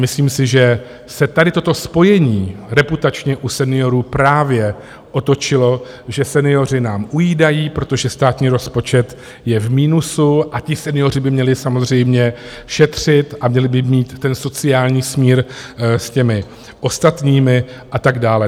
Myslím si, že se tady toto spojení reputačně u seniorů právě otočilo, že senioři nám ujídají, protože státní rozpočet je v minusu a ti senioři by měli samozřejmě šetřit a měli by mít ten sociální smír s těmi ostatními a tak dál.